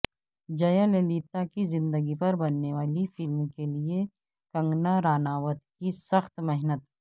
جیا للیتا کی زندگی پر بننے والی فلم کے لئے کنگنا راناوت کی سخت محنت